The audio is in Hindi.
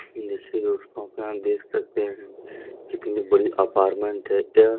देखिए दोस्तों यहाँ देख सकते है कितनी बड़ी अपारमेंट है यह।